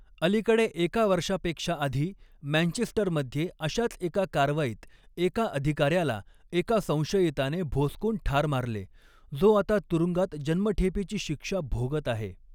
अलीकडे एका वर्षापेक्षा आधी, मँचेस्टरमध्ये अशाच एका कारवाईत एका अधिकाऱ्याला एका संशयिताने भोसकून ठार मारले, जो आता तुरुंगात जन्मठेपेची शिक्षा भोगत आहे.